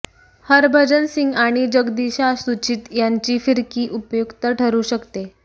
हरभजन सिंग आणि जगदीशा सुचिथ यांची फिरकी उपयुक्त ठरू शकते